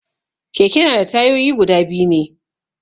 Keke na da tayoyi guda biyu ne